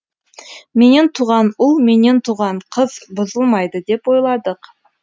менен туған ұл менен туған қыз бұзылмайды деп ойладық